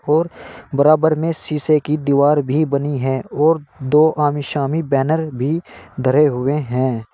और बराबर में सीसे की दीवार भी बनी हैं और दो आमी शामी बैनर भी धरे हुए हैं।